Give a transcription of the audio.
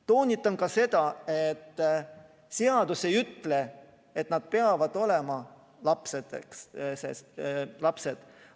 Toonitan ka seda, et seadus ei ütle, et nad peavad olema lapsed.